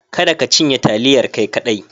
Kada ka cinye taliyar kai kadai.